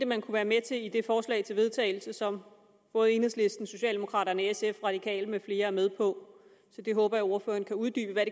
man kunne være med til i det forslag til vedtagelse som både enhedslisten socialdemokraterne sf de radikale med flere er med på så jeg håber at ordføreren kan uddybe hvad